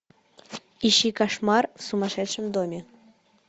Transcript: ищи кошмар в сумасшедшем доме